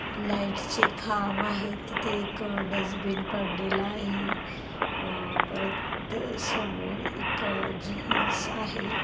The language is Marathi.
लाइट्स चे खांब आहे तिथे एक डस्टबिन पडलेल आहे अह परत समोर एक जीन्स आहे.